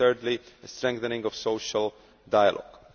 and thirdly strengthening of social dialogue.